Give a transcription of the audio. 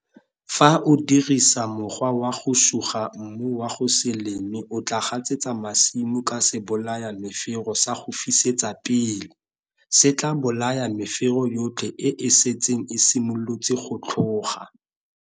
Fa o dirisa mokgwa wa go suga mmu wa go se leme o tlaa gasetsa masimo ka sebolayamefero sa go fisetsa pele. Se tlaa bolaya mefero yotlhe e e setseng e simolotse go tlhoga.